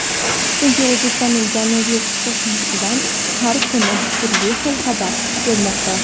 Chunki O‘zbekistonning janubiy qo‘shnisidan har kuni turli xil xabarlar kelmoqda.